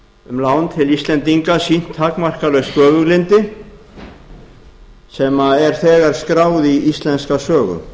um lán til íslendinga sýnt takmarkalaust göfuglyndi sem er þegar skráð í íslenska sögu